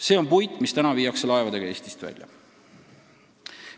See on puit, mis praegu viiakse laevadega Eestist välja.